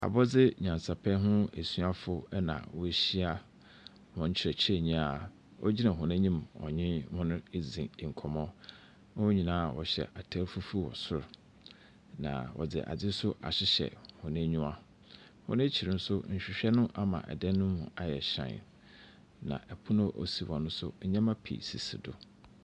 Abɔdzenyasapɛ ho asuafo na wɔahyia hɔn kyerɛkyerɛnyi a ɔnye hɔn redzi nkɔmbɔ. Hɔn nyinaa wɔhyɛ atar fufuw wɔ sor na wɔdze adze ahyehyɛ hɔn anyiwa. Hɔn akyir nso, nhwehwɛ no ama dan no mu ayɛ hyɛnn. Na pon a osi hɔ nso nnyɛma pii sisi do.